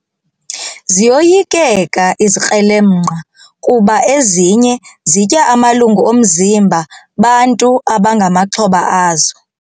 Ziyoyikeka izikrelemnqa kuba ezinye zitya amalungu omzimba bantu abangamaxhoba azo.